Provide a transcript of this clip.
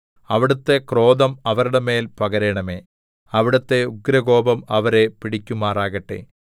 അവിടുത്തെ ക്രോധം അവരുടെ മേൽ പകരണമേ അവിടുത്തെ ഉഗ്രകോപം അവരെ പിടിക്കുമാറാകട്ടെ